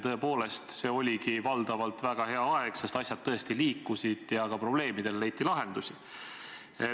Tõepoolest, see oligi valdavalt väga hea aeg, sest asjad tõesti liikusid ja ka probleemidele leiti lahendusi.